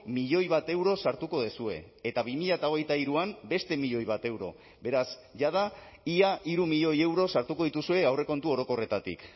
milioi bat euro sartuko duzue eta bi mila hogeita hiruan beste milioi bat euro beraz jada ia hiru milioi euro sartuko dituzue aurrekontu orokorretatik